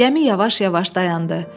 Gəmi yavaş-yavaş dayandı.